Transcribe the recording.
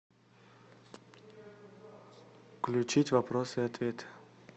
включить вопросы и ответы